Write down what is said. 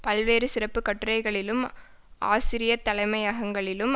பல்வேறு சிறப்பு கட்டுரைகளிலும் ஆசிரிய தலைமையங்கங்களிலும்